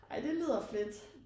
Ej det lyder fedt